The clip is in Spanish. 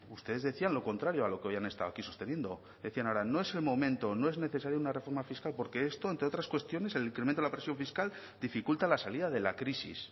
ustedes decían lo contrario a lo que hoy han estado aquí sosteniendo decían ahora no es el momento no es necesaria una reforma fiscal porque esto entre otras cuestiones el incremento de la presión fiscal dificulta la salida de la crisis